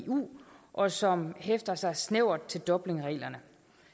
eu og som hæfter sig snævert til dublinreglerne